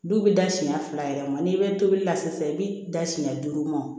Du bɛ da siɲɛ fila yɛrɛ ma n'i bɛ tobili la sisan i bɛ da siɲɛ duuru ma